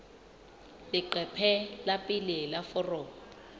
leqephe la pele la foromo